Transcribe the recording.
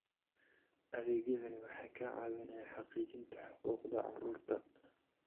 Adeegyadani waxay ka caawinayaan xaqiijinta xuquuqda carruurta.